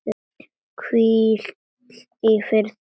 Hvíl í friði, elsku nafna.